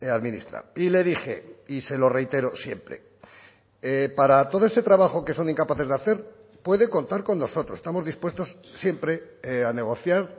a administrar y le dije y se lo reitero siempre para todo ese trabajo que son incapaces de hacer puede contar con nosotros estamos dispuestos siempre a negociar